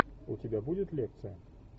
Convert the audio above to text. у тебя будет лекция